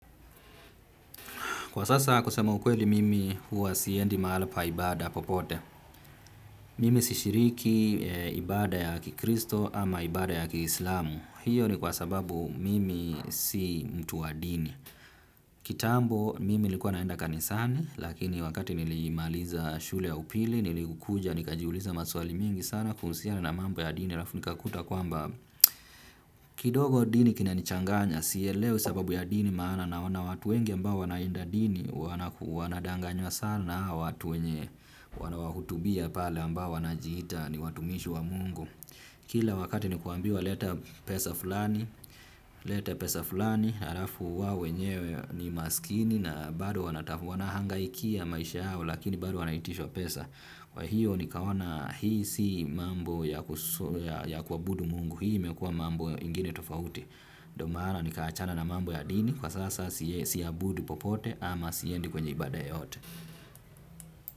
Kwa sasa, kusema ukweli mimi huwa siendi mahala pa ibada popote. Mimi si shiriki ibada ya kikristo ama ibada ya kislamu. Hiyo ni kwa sababu mimi si mtu wa dini. Kitambo, mimi nilikua naenda kanisani, lakini wakati nilimaliza shule ya upili, nilikuja, nikajiuliza maswali mingi sana, kuhusiana na mambo ya dini arafu nikakuta kwamba, kidogo, dini kinanichanganya. Siyelewe sababu ya dini maana, naoana watu wengi ambao wanaendadini, wanadanganywa sana, watu wenye wana wahutubia pale ambao wanajiita ni watumishi wa Mungu. Kila wakati ni kuambiwa leta pesa fulani, leta pesa fulani, harafu wao wenyewe ni masikini na bado wanahangaikia maisha yao lakini bado wanaitisha pesa. Wahiyo, nikaona hii si mambo ya kuabudu Mungu. Hii imekua mambo ingine tofauti. Domaana nikaachana na mambo ya dini, kwa sasa sia budu popote ama siendi kwenye ibada yeyote.